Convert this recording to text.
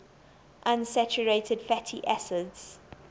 unsaturated fatty acids